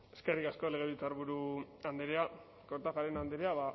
eskerrik asko legebiltzarburu andrea kortajarena andrea